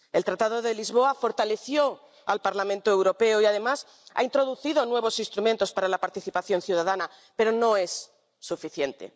El Tratado de Lisboa fortaleció al Parlamento Europeo y, además, ha introducido nuevos instrumentos para la participación ciudadana, pero no es suficiente.